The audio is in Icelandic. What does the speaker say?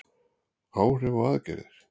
Áhrif og aðgerðir.